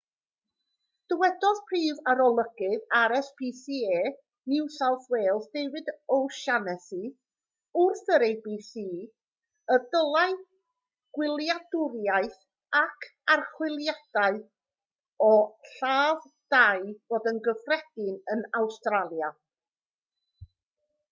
dywedodd prif arolygydd rscpa new south wales david o'shannessy wrth yr abc y dylai gwyliadwriaeth ac archwiliadau o ladd-dai fod yn gyffredin yn awstralia